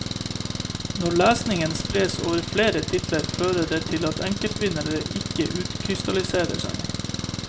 Når lesningen spres over flere titler fører det til at enkeltvinnere ikke utkrystalliserer seg.